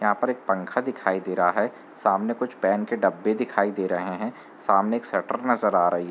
यहाँ पर एक पंखा दिखाई दे रहा है। सामाने कुछ पेन के डब्बे दिखाई दे रहे हैं। सामाने एक शटर नजर आ रही --